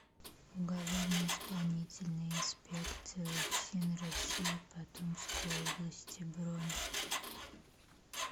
уголовно исполнительная инспекция уфсин россии по томской области бронь